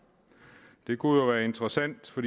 det kunne jo være interessant for